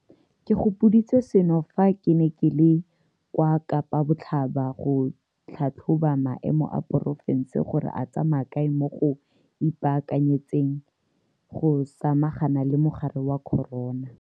Ke gopoditswe seno fa ke ne ke le kwa Kapa Botlhaba go tlhatlhoba maemo a porofense gore a tsamaya kae mo go ipaakanyetseng go samagana le mogare wa corona.